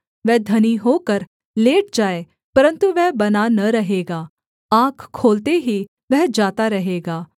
वह धनी होकर लेट जाए परन्तु वह बना न रहेगा आँख खोलते ही वह जाता रहेगा